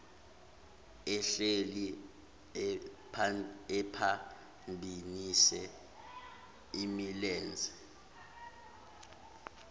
ehleli ephambanise imilenze